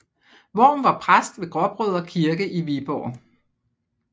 Worm var præst ved Gråbrødre Kirke i Viborg